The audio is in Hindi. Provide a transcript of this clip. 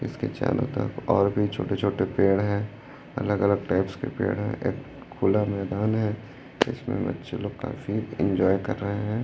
इसके चारों तरफ और भी छोटे छोटे पेड़ है अलग अलग टाइप्स के पेड़ है एक खुला मैदान है इसमें बच्चे लोग काफी एंजॉय कर रहे हैं।